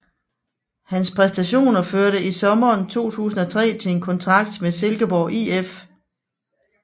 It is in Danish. Hans præstationer førte i sommeren 2003 til en kontrakt med Silkeborg IF